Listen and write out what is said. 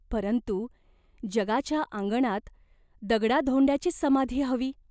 परंतु जगाच्या आंगणात दगडाधोंड्यांचीच समाधी हवी.